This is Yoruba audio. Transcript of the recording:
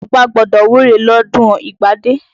Ọbá gbọ́dọ̀ wúre lọ́dún ìgbádé.